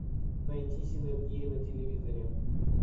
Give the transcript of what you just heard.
найти синергия на телевизоре